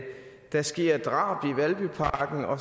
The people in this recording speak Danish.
der sker drab i valbyparken og